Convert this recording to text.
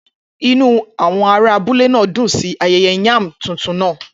Inú àwọn ará abúlé náà dùn sí ayẹyẹ yam tuntun náà.